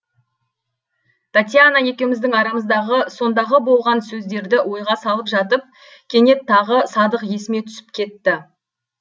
татьяна екеуміздің арамыздағы сондағы болған сөздерді ойға салып жатып кенет тағы садық есіме түсіп кетті